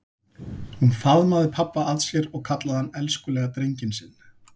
Hún faðmaði pabba að sér og kallaði hann elskulega drenginn sinn.